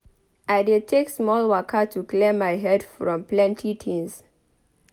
I dey take small waka to clear my head from plenty tins.